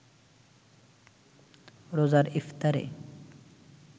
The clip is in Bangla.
রোজার ইফতারে